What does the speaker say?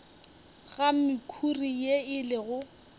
ga mekhuri ye e lego